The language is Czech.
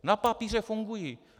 Na papíře fungují.